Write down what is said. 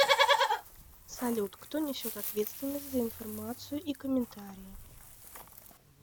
салют кто несет ответственность за информацию и комментарии